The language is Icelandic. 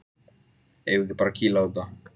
Eigum við ekki bara að kýla á þetta?